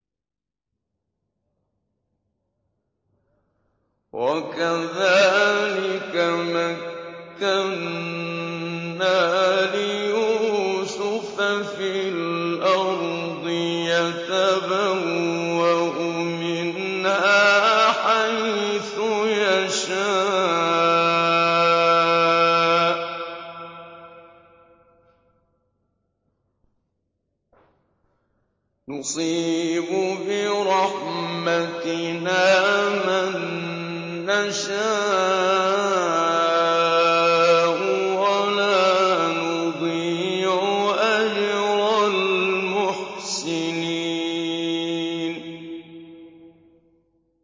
وَكَذَٰلِكَ مَكَّنَّا لِيُوسُفَ فِي الْأَرْضِ يَتَبَوَّأُ مِنْهَا حَيْثُ يَشَاءُ ۚ نُصِيبُ بِرَحْمَتِنَا مَن نَّشَاءُ ۖ وَلَا نُضِيعُ أَجْرَ الْمُحْسِنِينَ